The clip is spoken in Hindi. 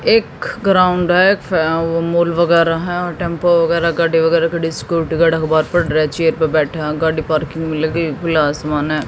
एक ग्राउंड है फ मूल वगैरा हैं टेंपू वगैरा गाडी वगैरा खड़ी स्कूटी वगैरा चेयर पर बैठा हुआ गाडी पार्किंग में लगी खुला आसमान है।